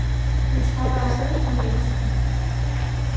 Han trækker os ned mod venstre.